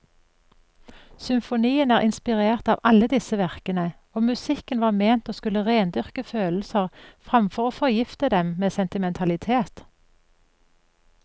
Symfonien er inspirert av alle disse verkene, og musikken var ment å skulle rendyrke følelser framfor å forgifte dem med sentimentalitet.